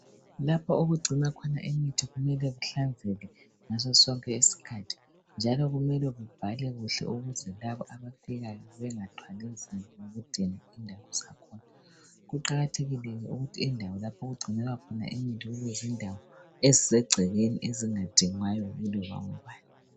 lapha okugcinwa khona imithi kumele kuhlenzeke ngaso sonke isikhathi njalo kumele kubhalwe kuhle ukuze labo abafikayo bengathwali nzima ngokudinga indawo zakhona kuqakathekile ke ukuthi indawo lapho okugcinwa imithi kube zindawo ezisegcekeni ezingadingwayo